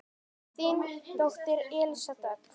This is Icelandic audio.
Þín dóttir Elísa Dögg.